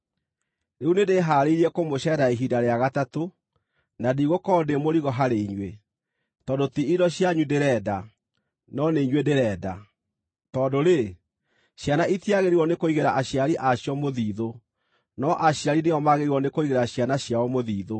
Rĩu nĩndĩhaarĩirie kũmũceerera ihinda rĩa gatatũ, na ndigũkorwo ndĩ mũrigo harĩ inyuĩ, tondũ ti indo cianyu ndĩrenda, no nĩ inyuĩ ndĩrenda. Tondũ-rĩ, ciana itiagĩrĩirwo nĩ kũigĩra aciari a cio mũthithũ, no aciari nĩo magĩrĩirwo nĩ kũigĩra ciana ciao mũthithũ.